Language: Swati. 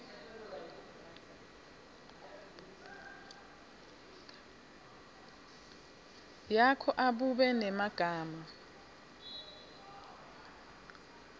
yakho abube ngemagama